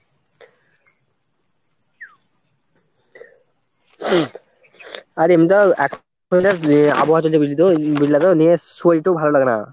আর এমনিতেও এখন এক আবহাওয়া চলতে বুঝলি তো ওই বুঝলা তো নিয়ে শরীরটাও ভালো লাগে না।